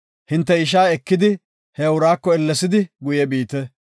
Hinte ishaa ekidi, he uraako ellesidi guye biite.